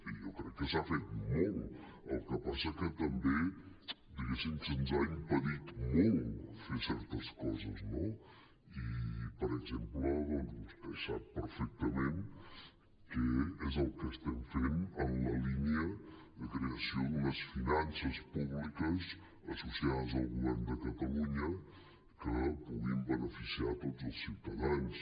jo crec que s’ha fet molt el que passa que també diguéssim se’ns ha impedit molt fer certes coses no i per exemple doncs vostè sap perfectament què és el que estem fent en la línia de creació d’unes finances públiques associades al govern de catalunya que puguin beneficiar tots els ciutadans